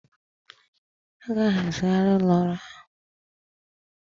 A ga-ahazigharị ụlọ ọrụ ahụ